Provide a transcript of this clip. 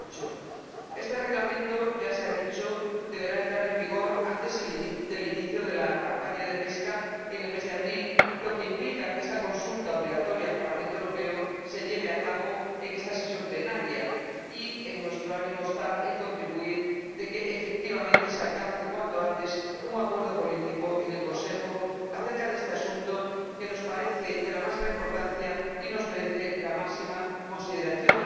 2008. Este Reglamento ya se ha dicho deberá entrar en vigor antes del inicio de la campaña de pesca en el mes de abril, lo que implica que esta consulta obligatoria al Parlamento Europeo se lleve a cabo en esta sesión plenaria, y en nuestro ánimo está contribuir a que efectivamente se alcance cuanto antes un acuerdo político en el Consejo acerca de este asunto que nos parece de la máxima importancia y nos merece la máxima consideración.